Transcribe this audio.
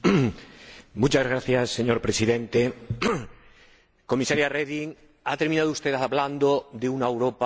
Señor Presidente, Comisaria Reding, ha terminado usted hablando de una Europa que cree empleo.